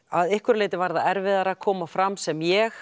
að einhverju leyti var það erfiðara að koma fram sem ég